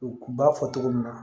U b'a fɔ cogo min na